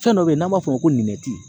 Fɛn dɔ be yen n'an b'a f'o ma ko